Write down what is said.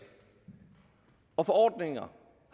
og forordninger